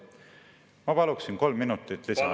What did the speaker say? Ma paluksin kolm minutit lisaaega.